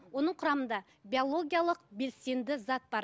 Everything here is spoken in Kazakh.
оның құрамында биологиялық белсенді зат бар